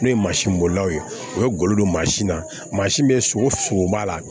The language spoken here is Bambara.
N'o ye mansin bolilaw ye u bɛ golo don mansin na mansin bɛ sogo sogo b'a la